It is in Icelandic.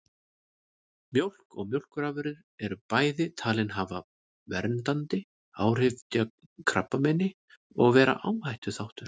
Mjólk og mjólkurafurðir eru bæði talin hafa verndandi áhrif gegn krabbameini og vera áhættuþáttur.